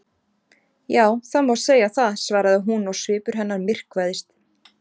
Já, það má segja það- svaraði hún og svipur hennar myrkvaðist.